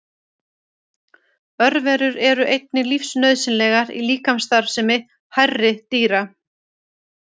Örverur eru einnig lífsnauðsynlegar í líkamsstarfsemi hærri dýra.